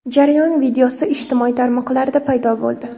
Jarayon videosi ijtimoiy tarmoqlarda paydo bo‘ldi.